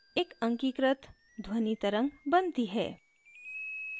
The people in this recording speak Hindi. एक अंकीकृत digitized ध्वनि तरंग बनती है